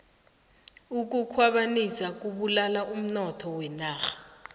ukukhwabanisa kubulala umnotho wenarha